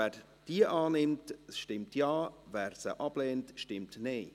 Wer diese annimmt, stimmt Ja, wer diese ablehnt, stimmt Nein.